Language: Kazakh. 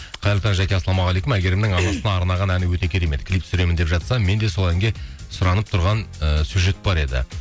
қайырлы таң жаке ассаламауғалейкум әйгерімнің арнаған әні өте керемет клип түсіремін деп жатса мен де сол әнге сұранып тұрған ііі сюжет бар еді